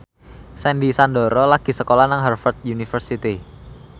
Sandy Sandoro lagi sekolah nang Harvard university